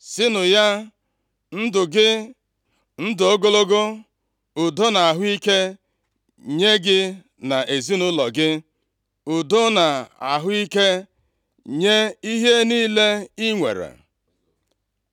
Sịnụ ya, ndụ gị, ndụ ogologo, udo na ahụ ike nye gị na ezinaụlọ gị, udo na ahụ ike nye ihe niile i nwere.